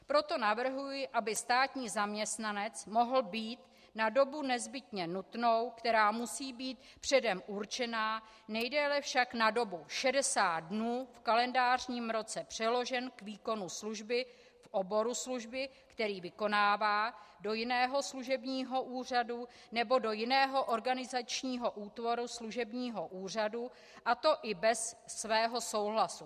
Proto navrhuji, aby státní zaměstnanec mohl být na dobu nezbytně nutnou, která musí být předem určena, nejdéle však na dobu 60 dnů v kalendářním roce, přeložen k výkonu služby v oboru služby, který vykonává, do jiného služebního úřadu nebo do jiného organizačního útvaru služebního úřadu, a to i bez svého souhlasu.